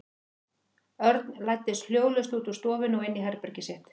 Örn læddist hljóðlaust út úr stofunni og inn í herbergið sitt.